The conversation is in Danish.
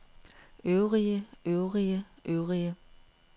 øvrige øvrige øvrige